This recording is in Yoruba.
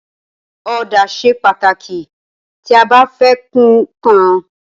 Ọ̀dà ṣe pàtàkì tí a bá fẹ́ kun ǹkan.